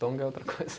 Tonga é outra coisa.